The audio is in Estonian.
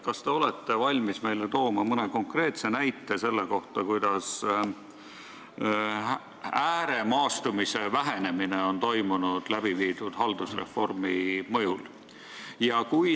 Kas te olete valmis meile tooma mõne konkreetse näite selle kohta, kuidas on läbiviidud haldusreformi mõjul toimunud ääremaastumise vähenemine?